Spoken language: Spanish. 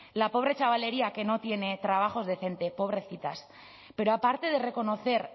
la pobre chavalería que no tiene trabajos decente pobrecitas pero aparte de reconocer